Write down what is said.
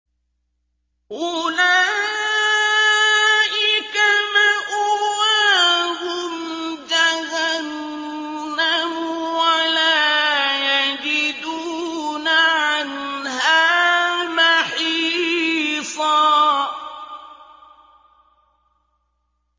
أُولَٰئِكَ مَأْوَاهُمْ جَهَنَّمُ وَلَا يَجِدُونَ عَنْهَا مَحِيصًا